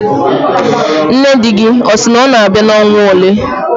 Nne di gị ọ sị na ọ na-abịa n'ọnwa ole?